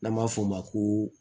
N'an b'a fɔ o ma ko